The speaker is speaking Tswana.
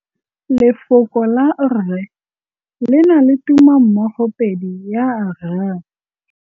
Lefoko la rre le na le tumammogôpedi ya, r.